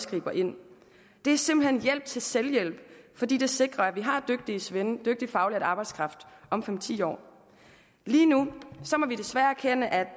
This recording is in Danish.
griber ind det er simpelt hen hjælp til selvhjælp fordi det sikrer at vi har dygtige svende dygtig faglært arbejdskraft om fem ti år lige nu må vi desværre erkende at